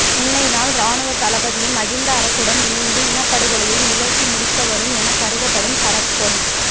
முன்னை நாள் இராணுவத் தளபதியும் மகிந்த அரசுடன் இணைந்து இனப்படுகொலையை நிகழ்த்தி முடித்தவரும் எனக் கருதப்படும் சரத் பொன்